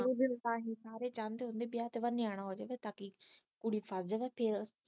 ਕੋਈ ਵੀ ਇਨਸਾਨ ਸਾਰੇ ਚਾਉਂਦੇ ਵਿਆਹ ਤੋਂ ਬਾਅਦ ਨਿਆਣਾ ਹੋ ਜਾਵੇ ਤਾ ਕੀ ਕੁੜੀ ਫਸ ਜਾਵੇ ਫਿਰ